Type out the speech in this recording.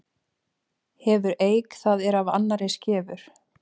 Hefur eik það er af annarri skefur.